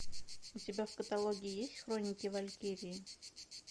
у тебя в каталоге есть хроники валькирии